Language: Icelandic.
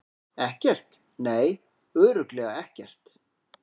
Ekkert, nei, örugglega ekkert.